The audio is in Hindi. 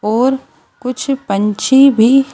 और कुछ पंछी भी--